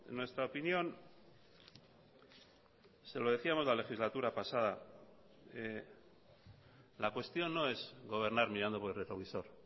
nuestra opinión se lo decíamos la legislatura pasada la cuestión no es gobernar mirando por el retrovisor